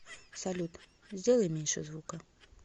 салют сделай меньше звука